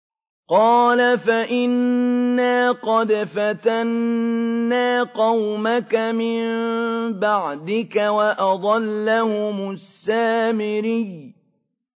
قَالَ فَإِنَّا قَدْ فَتَنَّا قَوْمَكَ مِن بَعْدِكَ وَأَضَلَّهُمُ السَّامِرِيُّ